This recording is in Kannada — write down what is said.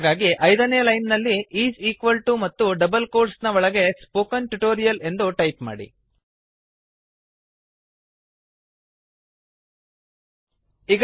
ಹಾಗಾಗಿ ಐದನೆ ಲೈನ್ ನಲ್ಲಿಈಸ್ ಈಕ್ವಲ್ ಟು ಮತ್ತು ಡಬಲ್ ಕೋಟ್ಸ್ ನ ಒಳಗೆ ಸ್ಪೋಕನ್ ಟ್ಯೂಟೋರಿಯಲ್ ಸ್ಪೋಕನ್ ಟ್ಯುಟೋರಿಯಲ್ ಎಂದು ಟೈಪ್ ಮಾಡಿ